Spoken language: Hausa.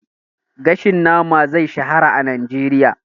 Gashin nama da grill zai shahara a Najeriya.